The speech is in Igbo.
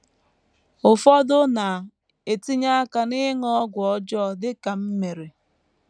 Ụfọdụ na - etinye aka n’ịṅụ ọgwụ ọjọọ, dị ka m mere.